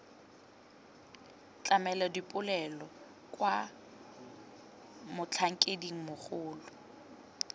tlamela dipoelo kwa motlhankeding mogolo